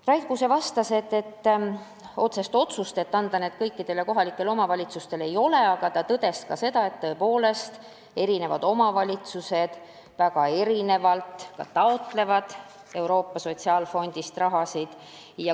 Rait Kuuse vastas, et otsest otsust anda need kõikidele kohalikele omavalitsustele ei ole, aga tõdes ka seda, et eri omavalitsused taotlevad Euroopa Sotsiaalfondist raha tõepoolest väga erinevalt.